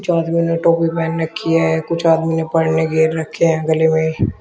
कुछ आदमियो ने टोपी पहन रखी है कुछ आदमी ने गेर रखे हैं गले में --